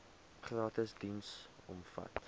gratis diens omvat